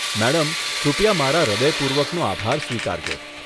Madam, કૃપયા મારા હૃદયપૂર્વકનો આભાર સ્વીકારજો.